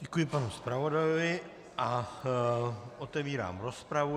Děkuji panu zpravodajovi a otevírám rozpravu.